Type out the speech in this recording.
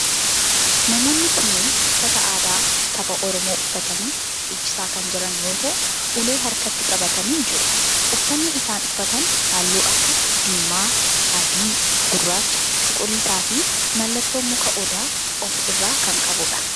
Namoonni kunneen uffata aadaa saba oromoo uffatanii dhiichisaa kan jiran yoo ta'u, ulee harkatti qabatanii jiru. uffanni isaan uffatan halluu akka diimaa, adii, gurraacha, cuquliisaa fi mallattoo muka odaa of irraa kan qabudha.